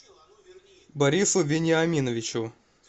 борису вениаминовичу